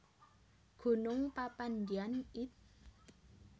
Gunung Papandayan id